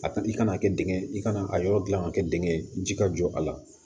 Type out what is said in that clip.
A i kana kɛ dingɛ i kana a yɔrɔ gilan ka kɛ dingɛ ye ji ka jɔ a la